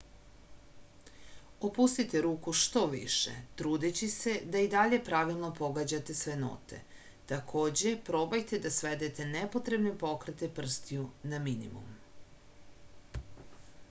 opustite ruku što više trudeći se da i dalje pravilno pogađate sve note takođe probajte da svedete nepotrebne pokrete prstiju na minimum